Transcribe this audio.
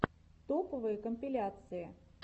топовые компиляции